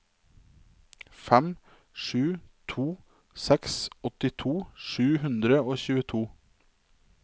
fem sju to seks åttito sju hundre og tjueto